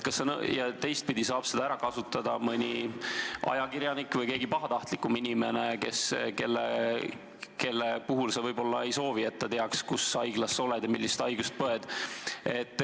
Ja seda saab ära kasutada mõni ajakirjanik või keegi pahatahtlik inimene, kelle puhul sa võib-olla ei soovi, et ta teaks, kus haiglas sa oled ja mis haigust põed.